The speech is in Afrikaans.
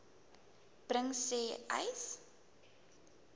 bring sê uys